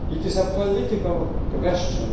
It is a political question.